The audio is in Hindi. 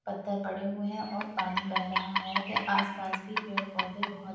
पत्थर पड़े हुए हैं और पानी बह रहा है के आस पास भी पेड़ पौधे बहोत --